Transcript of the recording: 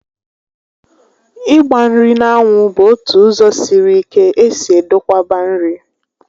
Ịgba nri n'anwu bụ ótụ ụzọ sịrị ike esi edokwaba nri